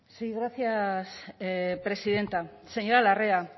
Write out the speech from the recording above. sí gracias presidenta señora larrea